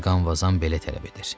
Mqanvazam belə tələb edir.